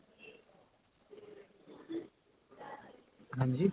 ਹਾਂਜੀ